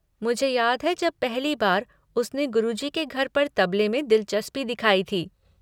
मुझे याद है जब पहली बार उसने गुरुजी के घर पर तबले में दिलचस्पी दिखाई थी।